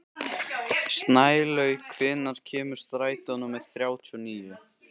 Snælaug, hvenær kemur strætó númer þrjátíu og níu?